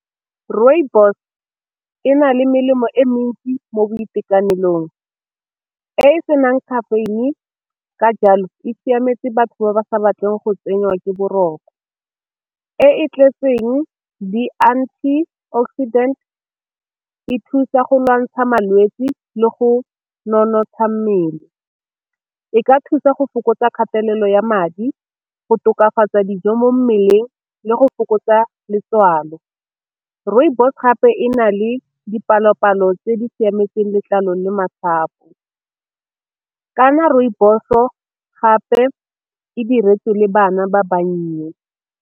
Rooibos e na le melemo e mentsi mo boitekanelong e e senang caffeine ka jalo e siametse batho ba ba sa batleng go tsenywa ke boroko, e e tletseng di anti-oxidant e thusa go lwantsha malwetse le go nonotsha mmele, e ka thusa go fokotsa kgatelelo ya madi, go tokafatsa dijo mo mmeleng le go fokotsa letswalo. Rooibos gape e na le dipalo-palo tse di siametseng letlalo le masapo, ka na rooibos-o gape e diretswe le bana ba bannye.